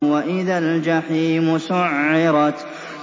وَإِذَا الْجَحِيمُ سُعِّرَتْ